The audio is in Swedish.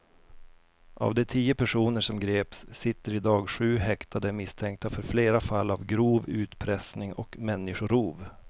Av de tio personer som greps sitter i dag sju häktade misstänkta för flera fall av grov utpressning och människorov.